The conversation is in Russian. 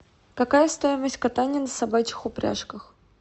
какая стоимость катания на собачьих упряжках